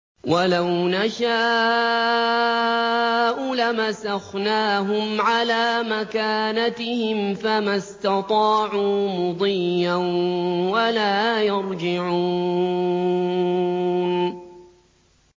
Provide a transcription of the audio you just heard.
وَلَوْ نَشَاءُ لَمَسَخْنَاهُمْ عَلَىٰ مَكَانَتِهِمْ فَمَا اسْتَطَاعُوا مُضِيًّا وَلَا يَرْجِعُونَ